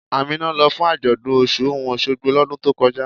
Ámínà ló fún ajọ́dún Ọṣun-Ọṣogbo lódùn tó kọjá.